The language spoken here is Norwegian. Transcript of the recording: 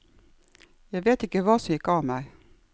Jeg vet ikke hva som gikk av meg.